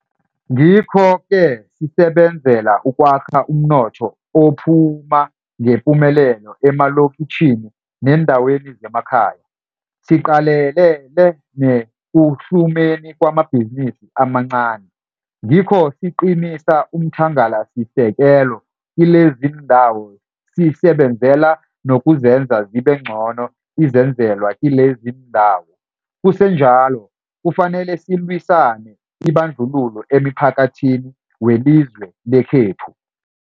Ngikho-ke sisebenzela ukwakha umnotho ophu phuma ngepumelelo emalokitjhini neendaweni zemakhaya, siqalelele nekuhlumeni kwamabhizinisi amancani. Ngikho siqinisa umthangalasisekelo kileziindawo sisebenzela nokuzenza zibengcono izenzelwa kileziindawo. Kusenjalo, kufanele sililwise ibandlululo emphakathini welizwe lekhethu.